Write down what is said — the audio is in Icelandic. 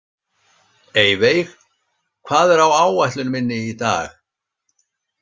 Eyveig, hvað er á áætlun minni í dag?